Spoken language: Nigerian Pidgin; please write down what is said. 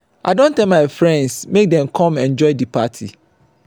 i don tell my friends make dem come enjoy di party.